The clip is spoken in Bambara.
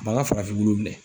B'an ga farafinwulu minɛ